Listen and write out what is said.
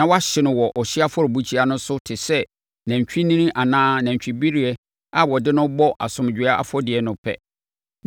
na wahye no wɔ ɔhyeɛ afɔrebukyia no so te sɛ nantwinini anaa nantwibereɛ a wɔde no bɔ asomdwoeɛ afɔdeɛ no pɛ.